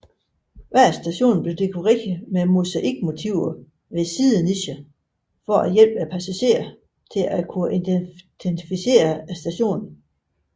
Hver station blev dekoreret med mosaikmotiver ved siddenicher for at hjælpe passagerer til at identificere stationen